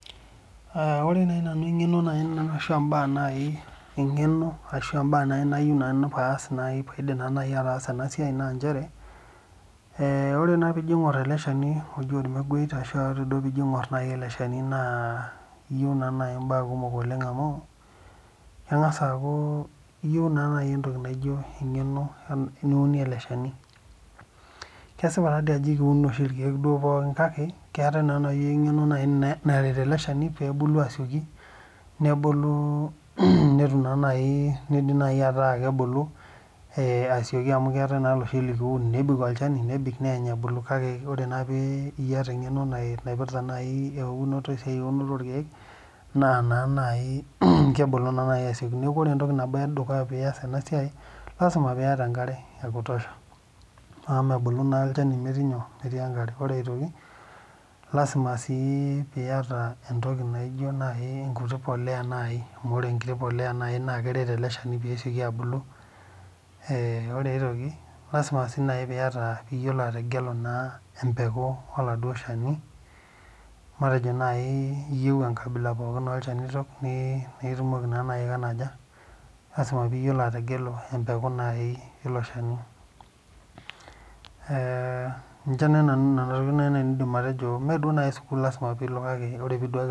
Ore naaji mbaa eng'eno ashu mbaa nayieu nanu paidim ataasa ena siai naa ore naa pijo aing'or ele Shani oji ormeguei ashu tenijo aing'or ele Shani naa eyieu mbaa kumok amu keng'as aku eyieu naa naaji entoki naijio eng'eno niunie ele Shani kesipa Ajo ekiun taadoi oshi irkeek pookin kake etae naaji eng'eno naretu ele Shani pee ebulu asioki nebulu netum nidima ataa kebulu amu ketae eloshi laa teniun nebik olchani neeny ebulu kake teniata naaji eng'eno naipirta eunoto orkeek naa naaji kebulu asioki neeku ore entoki edukuya pias ena siai naa lasima piata enkare ekutosha amu mebulu naa olchani metii enkare ore aitoki lasima piata entoki naijio nkuti polea amu ore enkiti polea naaji naa keret ele Shani pee esioki abulu ore aitoki naa lasima pee eyiolou ategelu embekuu oladuo Shani matejo eyieu enkabila pookin orkeek nitumoki naa naaji naa lasima pee eyiolou ategelu embekuu naaji elo Shani Nena tokitin naaji nanu aidim atejo mee naaji sukuul lasima pilo kake teniduaki